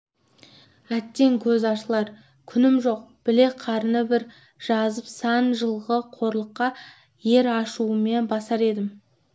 әттең көз ашылар күнім жоқ білек қарын бір жазып сан жылғы қорлыққа ер ашуымен басар едім